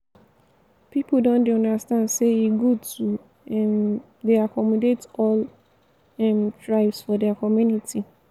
pipu don dey understand sey e good to um dey accommodate all um tribes for their community.